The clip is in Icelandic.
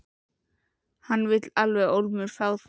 Hann vill alveg ólmur fá þig.